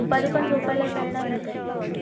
दुपारी पण झोपायला वेळ नाही भेटतं ना